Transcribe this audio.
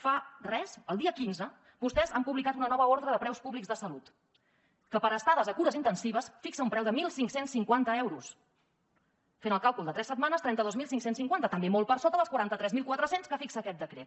fa res el dia quinze vostès han publicat una nova ordre de preus públics de salut que per a estades a cures intensives fixa un preu de quinze cinquanta euros fent el càlcul de tres setmanes trenta dos mil cinc cents i cinquanta també molt per sota dels quaranta tres mil quatre cents que fixa aquest decret